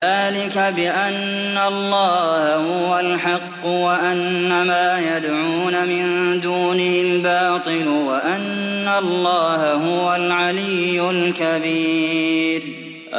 ذَٰلِكَ بِأَنَّ اللَّهَ هُوَ الْحَقُّ وَأَنَّ مَا يَدْعُونَ مِن دُونِهِ الْبَاطِلُ وَأَنَّ اللَّهَ هُوَ الْعَلِيُّ الْكَبِيرُ